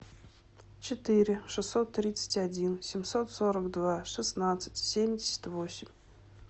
четыре шестьсот тридцать один семьсот сорок два шестнадцать семьдесят восемь